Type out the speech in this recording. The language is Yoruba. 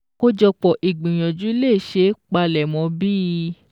Kójọpọ̀ ìgbìyànjú lè ṣeé palẹ̀mọ́ bí i: